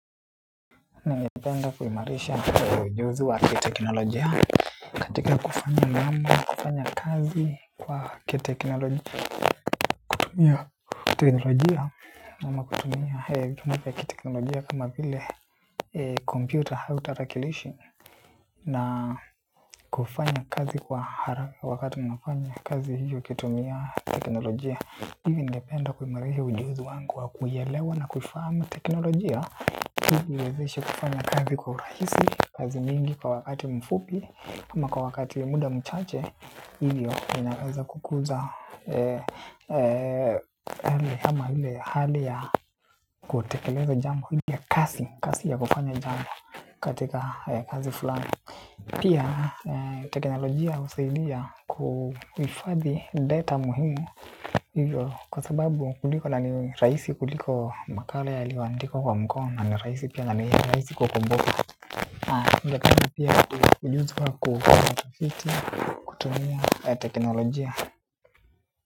Ningependa kuimarisha ujuzi wa kiteknolojia katika kufanya mambo na kufanya kazi kwa kiteknolojia kutumia teknolojia ama kutumia kutumia teknolojia kama vile computer au tarakilishi na kufanya kazi kwa haraka wakati mnafanya kazi hiyo ukitumia teknolojia. Hivi ningependa kuimarisha ujuzi wangu wa kuielewa na kuifahamu teknolojia hivi huwezesha kufanya kazi kwa urahisi, kazi mingi kwa wakati mfupi ama kwa wakati muda mchache. Hivyo ninaweza kukuza yale ama ile hali ya kutekeleza jambo ile kasi, kasi ya kufanya jambo katika kazi fulani. Pia teknolojia husaidia kuhifadhi data muhimu kwa sababu kuliko na ni rahisi kuliko makala yaliyoandikwa kwa mkono na ni rahisi pia na ni rahisi kukumbuka. Kazi pia ujuzi wa kutafiti kutumia teknolojia.